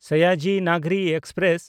Sayaji Nagri express